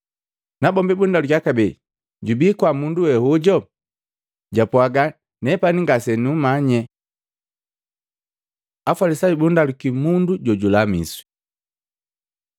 Nabombi bundalukiya kabee, “Jubi kwaa mundu we hojo?” Japwaaga, “Nepani ngase nukumanye.” Afalisayu bundaluki mundu jojulamiswi